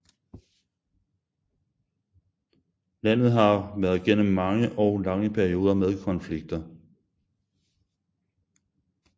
Landet har været gennem mange og lange perioder med konflikter